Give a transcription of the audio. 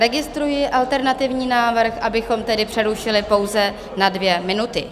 Registruji alternativní návrh, abychom tedy přerušili pouze na dvě minuty.